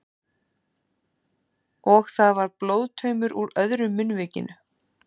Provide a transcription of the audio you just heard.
Og það var blóðtaumur úr öðru munnvikinu.